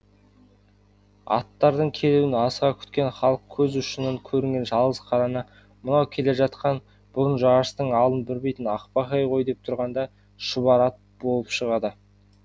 аттардың келуін асыға күткен халық көз ұшынан көрінген жалғыз қараны мынау келе жатқан бұрын жарыстың алдын бермейтін ақбақай ғой деп тұрғанда шұбар ат болып шығады